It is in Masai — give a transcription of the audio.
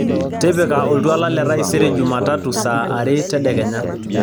tipika oltuala le taisere jumatatu saa are tedekenya